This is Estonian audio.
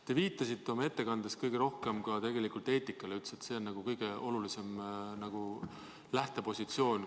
Te viitasite oma ettekandes kõige rohkem tegelikult eetikale ja ütlesite, et see on kõige olulisem lähtepositsioon.